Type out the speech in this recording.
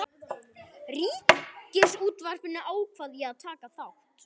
Ríkisútvarpinu ákvað ég að taka þátt.